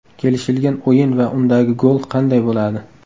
Kelishilgan o‘yin va undagi gol qanday bo‘ladi?